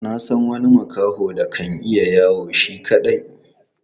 Na san wani makaho da kan iya yawo shi kaɗai.